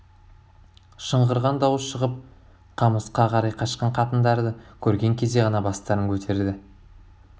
шыңғырған дауыс шығып қамысқа қарай қашқан қатындарды көрген кезде ғана бастарын көтерді